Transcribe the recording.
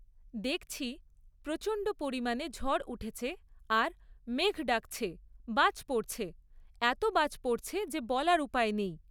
দেখছি, প্রচণ্ড পরিমাণে ঝড় উঠেছে আর মেঘ ডাকছে, বাজ পড়ছে। এত বাজ পড়ছে যে বলার উপায় নেই!